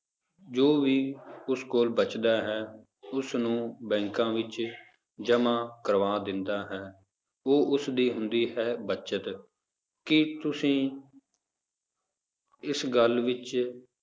ਜੋ ਵੀ ਉਸ ਕੋਲ ਬਚਦਾ ਹੈ ਉਸਨੂੰ ਬੈਂਕਾਂ ਵਿੱਚ ਜਮਾਂ ਕਰਵਾ ਦਿੰਦਾ ਹੈ, ਉਹ ਉਸਦੀ ਹੁੰਦੀ ਹੈ ਬਚਤ, ਕੀ ਤੁਸੀਂ ਇਸ ਗੱਲ ਵਿੱਚ